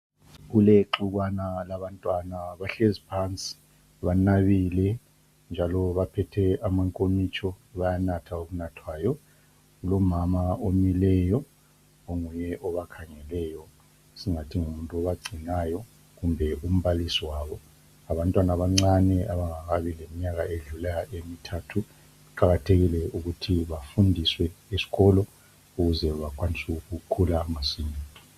Kulexukwana labantwana bahlezi phansi banabile njalo baphethe amankomitsho bayanatha okunathwayo. Kulomama omileyo onguye obakhangeleyo esingathi ngumuntu obagcinayo kumbe umbalisi wabo. Ngabantwana abancane abangakabi leminyaka edlula emithathu. Kuqakathekile ukuthi bafundiswe esikolo ukuze bakwanise ukukhula masinya.